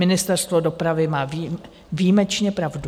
Ministerstvo dopravy má výjimečně pravdu.